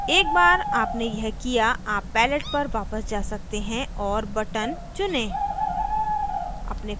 एक बार आपने यह किया आप palette पर वापस जा सकते हैं और button चुनें